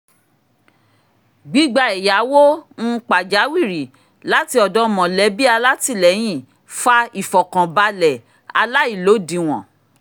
gbígba ẹ̀yáwó um pàjáwìrì láti ọ̀dọ̀ mọ̀lẹ̀bí alátìlẹyìn fa ìfọ̀kànbalẹ̀ aláìlódiwọ̀n